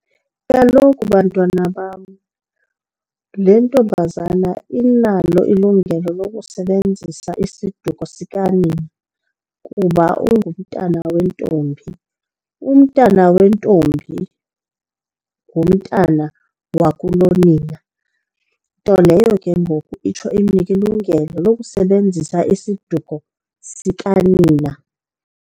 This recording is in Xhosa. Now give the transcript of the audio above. Kaloku bantwana bam le ntombazana inalo ilungelo lokusebenzisa isiduko sikanina kuba ungumntana wentombi. Umntana wentombi ngumntana wakulonina, nto leyo ke ngoku itsho inike ilungelo lokusebenzisa isiduko sikanina.